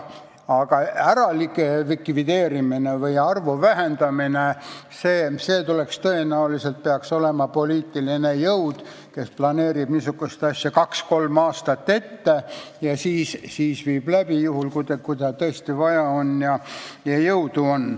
Aga mõne likvideerimine, ministeeriumide arvu vähendamine – selle taga peaks tõenäoliselt olema poliitiline jõud, kes planeerib niisugust asja kaks-kolm aastat ette ja siis viib läbi, juhul kui tal tõesti vaja on ja jõudu on.